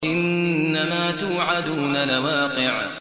إِنَّمَا تُوعَدُونَ لَوَاقِعٌ